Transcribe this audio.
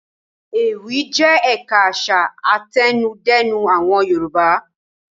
Ewì jẹ́ ẹ̀ka àṣà àtẹnudẹ́nu àwọn Yorùbá.